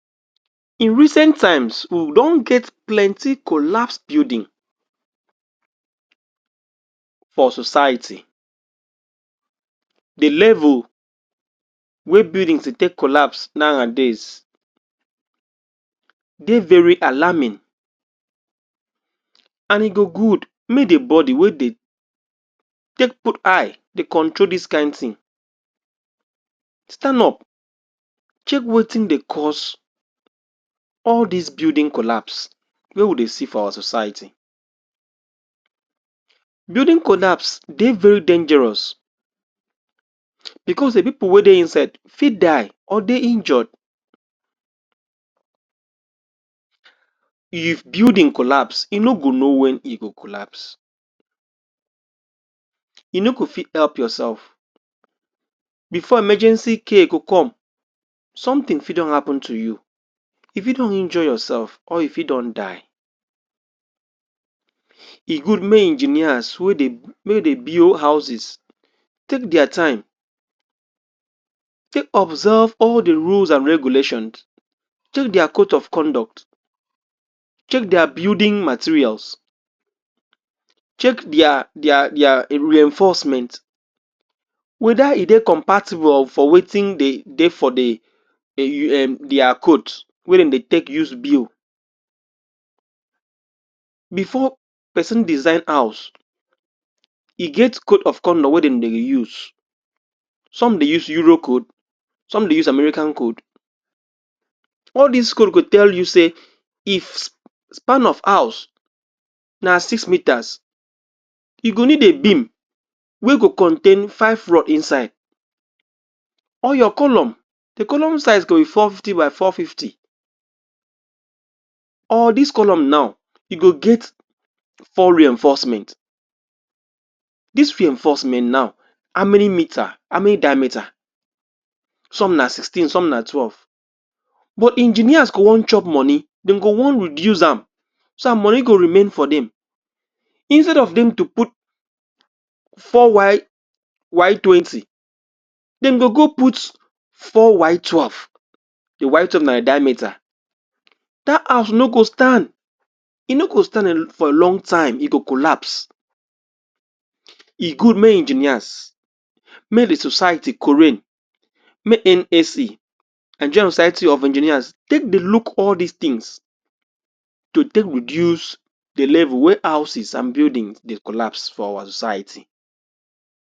in recent time we don get plenty collapse building for society the level wey building dey take collapse nowadays dey very alarming and e go good mey the body wey dey take put eye dey control dis kind thing stand up check wetin dey cause all dis building collapse wey we dey see for our society building collapse dey very dangerous because the people wey dey inside fit ide or dey injured if building collapse e no go know when e go collapse e no go fit help yourself before emergency care go come something fit don happen to you you fit don injure yourself or you fit don die e good mey engineers wey dey wey dey build houses take dia time take observe all the rules and regulation take dia cote of conduct take dia building materials take dia dia dia reinforcement weda e dey compatible or wetin dey for the dia code wey dem dey take use build before person design house e get code of conduct wey dem dey use some dey use Euro code some dey use American code all dis code go tell you sey if the span of house na six metres e go need the beam wey go contain five rod inside or your column the column size go be four fifty by four fifty or dis column now e go get foreign investment dis reignforcement now how many metre? how many diametre? some na sixteen some na twelve but engineer go wan chop money dey go wan reduce am some money go remain for dem instead of dem to put 4Y Y20 dem go go put 4Y12 the Y12 na the diametre dat house no go stand e no stand for a long time e go collapse e good mey engineers mey the society mey NSE Nigeria society of engineers to take use the name wey houses and building dey collapse for size